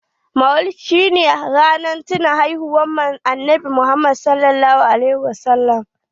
Maulidi shi ne ranar tinawa da haihuwan annabi Muhammad (.s.a w)